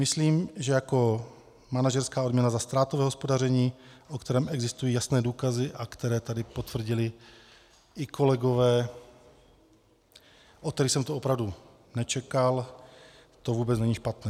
Myslím, že jako manažerská odměna za ztrátové hospodaření, o kterém existují jasné důkazy a které tady potvrdili i kolegové, od kterých jsem to opravdu nečekal, to vůbec není špatné.